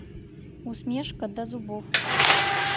усмешка до зубов